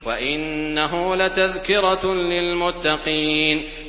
وَإِنَّهُ لَتَذْكِرَةٌ لِّلْمُتَّقِينَ